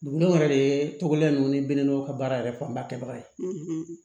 Duguw yɛrɛ de ye tɔgɔden ninnu ni biwɔw ka baara yɛrɛ fanba kɛbaga ye